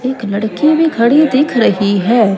एक लड़की भी खड़ी दिख रही है।